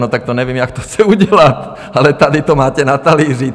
No, tak to nevím, jak to chce udělat, ale tady to máte na talíři.